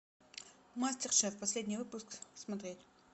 мастер шеф последний выпуск смотреть